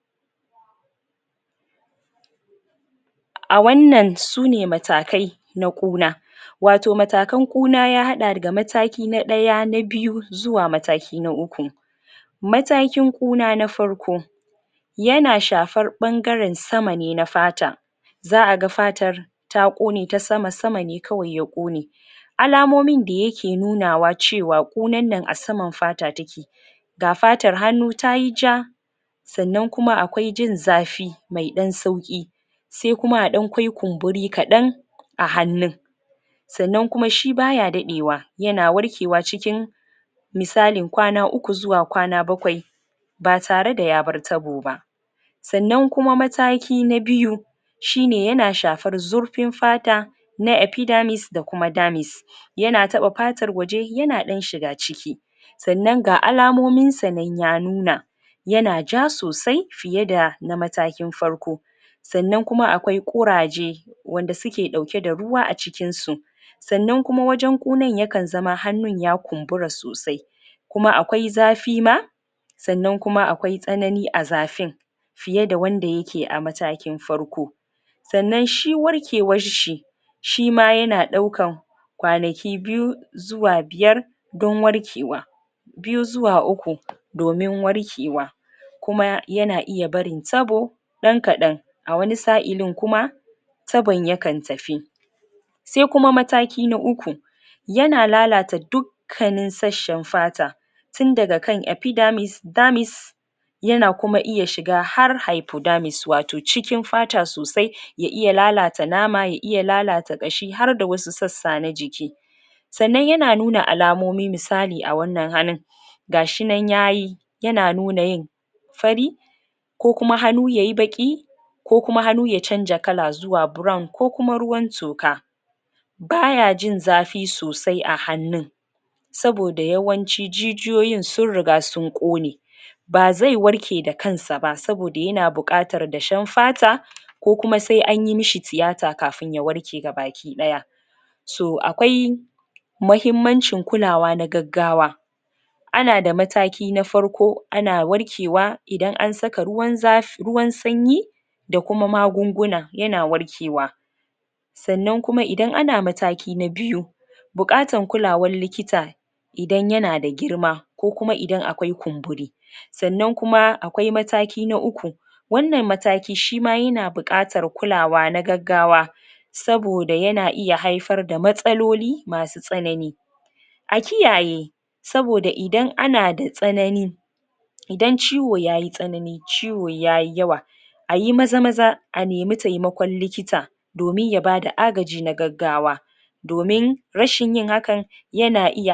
Kaman yadda akai ake magana akan ita wannan Umm magana na wannan cuta na corona To shine maganan da suke kaman su manya manayn Umm wuraren saida magunguna A cikin kashi sittin a cikin kashi dari kashi Um kashi sittin kenan zamu ce, Suna saida magungunan su kuma da um kuma sannan suna saida magungunan su a cikin sittin Dangane da Yanayi na shigo da magunguna da ake da bukata su Kaman su indiya da chaina da wasu kasashe So kuma wannan abu da ake shigo dashi na magunguna Yasa ana samun Umm su wa'innan ba ummm guraren saida magunguna Saboda yanda suka zo wasu ma magungunan akan same su suyi, Um lokacin da ake dibar masu yayi aspiya Kuma yaya fina ya lallace Kuma ba tare da so jama'a sun Saida su a wuraren nasu Don wasu da yawa abubuwa yasa Maganin ya lalace ba'a Um saye suba kuma haka wanda zaizo ya zai kuma a iya ssaida maishi ba tare da Wani sunji damuwa ko wani Abu irin wa'innan abubuwan ba to suma sunada hankali dangane da Shi faruwan wannan abu daya ke kasancewa cewa na Wuraren saida magunguna Kaman yadda ita jami'an lafiya suketa bakin kokarinsu wajen bayani ita wannan Cuta Da take faruwa a ga al'umm baki day To wa'innan sunada magunguna Wanda sukan shigo dashi daga kasashe Daban daban don ganin asamu sauki wajen tafida wannan cuta Ba tare da an samu wata, Tararradi na ko kuma rashin natsuwa wajen samun ita wannan magunguna da ake yin amfani da ita wajen wannan maganin da sauransu To shine abunda ke faruwa yanzu a haka da, Shi wannan bidiyo yake wannan da aka sama Kalla Yake gani ga irin abubuwan da yake faruwa da sauran su a wannan gaba Insha Allahu to allah sa mudace sai wannan hidima da akai na wannan abu Aiki kosan ince na Abu da yake kasancewa na magunguna da Ake saidawa a wannan kasa namu najeriya dama afirka baki day A wannan hali To shine biyanin dake cikin wannan bidiyo dai a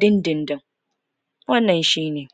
takaice Insha Allahu